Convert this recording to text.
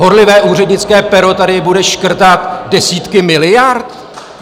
Horlivé úřednické pero tady bude škrtat desítky miliard?